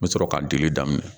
N bɛ sɔrɔ ka delili daminɛ